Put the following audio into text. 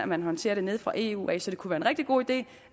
man håndterer det nede fra eu af så det kunne være en rigtig god idé